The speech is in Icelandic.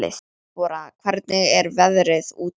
Debora, hvernig er veðrið úti?